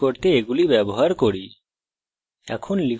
এখন এই শব্দটি print করতে এগুলি ব্যবহার করি